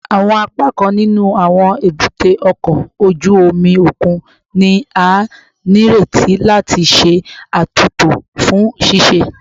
Awọn apakan ninu awọn ebute oko oju omi okun ni a nireti lati ṣe atunto fun ṣiṣe